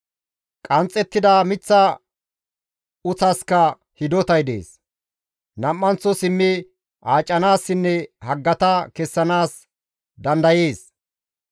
Qanxxettida miththa uththaska hidotay dees; nam7anththo simmi aacanaassinne haggata kessanaas dandayees.